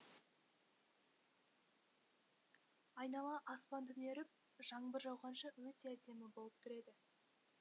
айнала аспан түнеріп жаңбыр жауғанша өте әдемі болып тұр еді